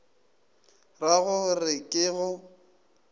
ra go re ke go